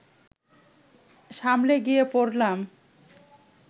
সামনে গিয়ে পড়লাম